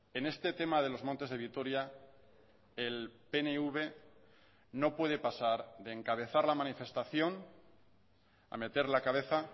en este tema de los montes de vitoria el pnv no puede pasar de encabezar la manifestación a meter la cabeza